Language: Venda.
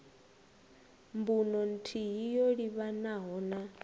mbuno nthihi yo livhanaho na